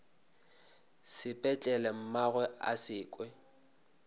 sepetlele mmagwe a se kwe